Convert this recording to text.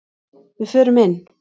Við förum inn!